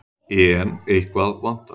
En eitthvað vantar.